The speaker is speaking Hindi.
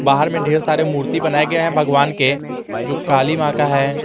बाहर में ढेर सारे मूर्ति बनाये गये है भगवान के जो काली मां का है।